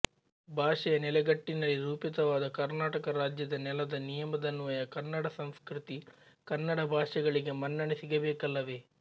ಭಾಷೆಯ ನೆಲೆಗಟ್ಟಿನಲ್ಲಿ ರೂಪಿತವಾದ ಕರ್ನಾಟಕ ರಾಜ್ಯದ ನೆಲದ ನಿಯಮದನ್ವಯ ಕನ್ನಡ ಸಂಸ್ಕೃತಿ ಕನ್ನಡ ಭಾಷೆಗಳಿಗೆ ಮನ್ನಣೆ ಸಿಗಬೇಕಲ್ಲವೇ